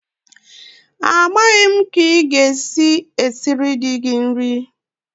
Amaghị m ka ị ga-esi esiri di gị nri!